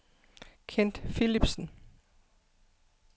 Kent Philipsen